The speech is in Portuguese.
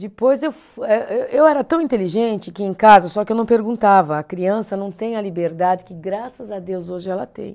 Depois eu fui, eh eh, eu era tão inteligente que em casa, só que eu não perguntava, a criança não tem a liberdade que graças a Deus hoje ela tem.